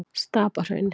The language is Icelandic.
Stapahrauni